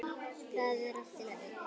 Það er allt í lagi.